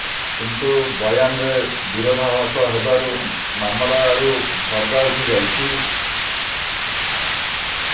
କିନ୍ତୁ ବୟାନରେ ବିରୋଧାଭାସ ହେବାରୁ ମାମଲାରୁ ପର୍ଦ୍ଦା ଉଠି ଯାଇଛି